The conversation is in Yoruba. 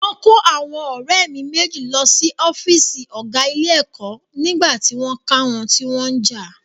Wọ́n kó àwọn ọ̀rẹ́ mi méjì lọ sí ọ́fíìsì ọ̀gá ilé-ẹ̀kọ́ nígbà tí wọ́n ká wọn tí wọ́n ń jà.